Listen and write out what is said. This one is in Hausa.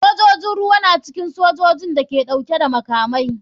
Sojojin ruwa na cikin sojojin da ke dauke da makamai.